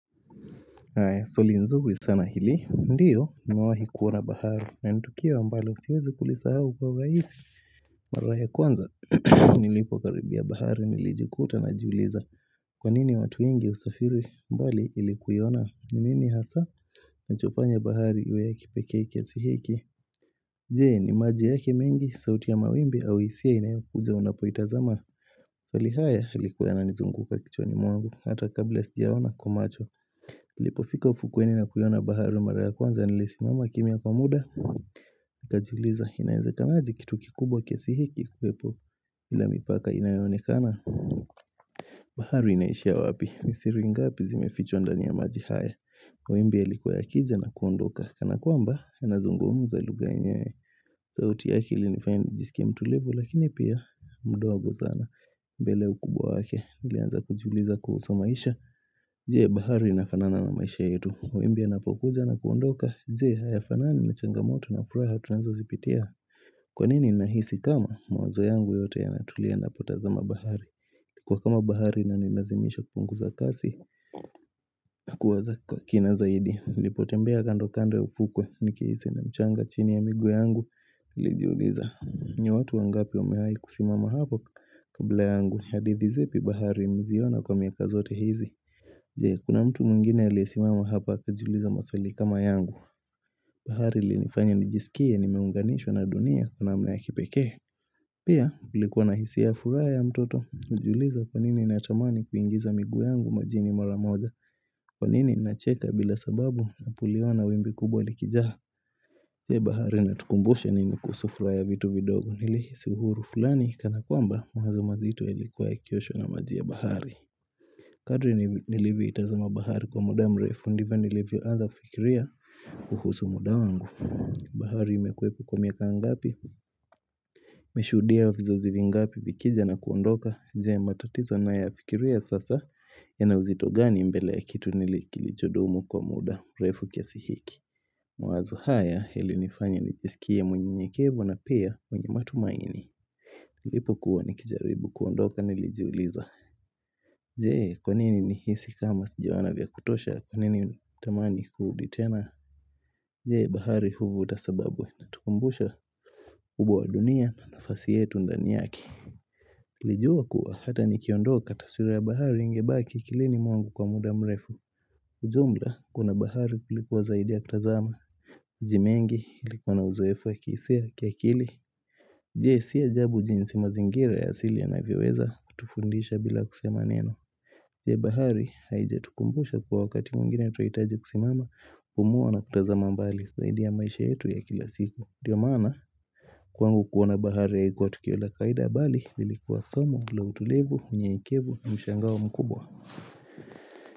, Swali nzuri sana hili, ndiyo, nimewahi kuona bahari, na nitukio ambalo siwezi kulisa hau kwa urahisi Mara ya kwanza, nilipo karibia bahari, nilijikuta najiuliza, kwa nini watu wengi husafiri mbali ilikuiona, nini hasa, kinachofanya bahari iwe ya kipekee kiasihiki Je?, ni maji yake mengi, sauti ya mawimbi, au hisia inayokuja unapoitazama maswali haya yalikuwa yananizunguka kichwani mwangu Hata kabla sija ona kwa macho nilipo fika ufukweni na kuiona bahari mara ya kwanza Nilisimama kimya kwa muda nikajiuliza inawezekanaje kitu kikubwa kiasihiki kiwepo bila mipaka inayoonekana bahari inaishia wapi Nisiri ngapi zimefichwa ndani ya maji haya mawimbi yalikuwa ya kija na kuondoka Kanakwamba yanazungumza lugha yenyewe sauti yake ilinifanya nijisikie mtulivu Lakini pia mdogo sana mbele ya ukubwa wake niIlianza kujiuliza kuhusu maisha Je? Bahari ina fanana na maisha yetu mawimbi yanapokuja na kuondoka Je? Haya fanani na changamoto na furaha tunazo zipitia Kwanini ninahisi kama mawazo yangu yote yanatulia ninapotazama bahari inakuwa kama bahari inanilazimisha kupunguza kasi kuwaza kwa kina zaidi nlipotembea kando kando ya ufukwe Nikihisi na mchanga chini ya miguu yangu nilijiuliza ni watu wangapi wamewahi kusimama hapo kabla yangu hadithi zipi bahari mziona kwa miaka zote hizi Je? Kuna mtu mwingine aliyesimama hapa akajiuliza maswali kama yangu bahari ilinifanya nijisikie nimeunganishwa na dunia kwa namna ya kipekee Pia nilikuwa na hisia ya furaha ya mtoto Najiuliza kwanini natamani kuingiza miguu yangu majini mara moja Kwanini nacheka bila sababu kuliona wimbi kubwa likijaa Je? Bahari inatukumbusha nini kuhusu furaha ya vitu vidogo Nilihisi uhuru fulani kana kwamba mawazo mazito yalikua ya kioshwa na maji ya bahari Kadri nilivyo itazama bahari kwa muda mrefu, ndivyo nilivyo anza fikiria kuhusu muda wangu. Bahari imekuwepo kwa miaka ngapi? Imeeshuhudia vizazi vingapi vikija na kuondoka. Je? Matatizo ninayoyafikiria sasa yanauzitogani mbele ya kitu kilichodumu kwa muda mrefu kiasihiki. Mawazo haya yalinifanya nijisikie mnyenyekevu na pia mwenye matumaini. Nilipo kuwa nikijaribu kuondoka nilijiuliza. Je? Kwanini ni hisi kama sijaoana vya kutosha kwanini nitamani kuruditena Je? Bahari huvuta sababu na hutukumbusha ukubwa wa dunia na nafasi yetu ndani yake niliijua kuwa hata ni kiondoka kaswira ya bahari ingebaki akilini mwangu kwa muda mrefu ujumla kuna bahari kuliko zaidi ya kutazama majimengi ilikuwa na uzoefu ya kihisia na kiakili Je? Siy ajabu jinsi mazingira ya asili yanavyoweza kutufundisha bila kusema neno je bahari haijatukumbusha kuwa wakati mwingine tunahitaji kusimama kumuwa na kutazama mbali zaidi ya maisha yetu ya kila siku. Ndio maana kwangu kuona bahari haikuwa tukio la kawaida bali lilikuwa somo, la utulivu, unyenyekevu, mshangao mkubwa.